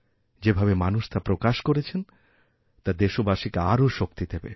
যেভাবে মানুষ তা প্রকাশকরেছেন তা দেশবাসীকে আরও শক্তি দেবে